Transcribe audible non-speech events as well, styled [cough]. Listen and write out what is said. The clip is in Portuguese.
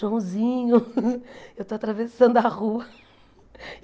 Joãozinho, [laughs] eu estou atravessando a rua. [laughs]